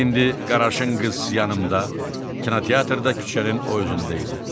İndi Qaraşınqız yanımda, kinoteatrda küçənin o özündə idi.